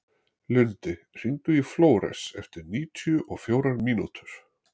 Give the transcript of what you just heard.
Lundi, hringdu í Flóres eftir níutíu og fjórar mínútur.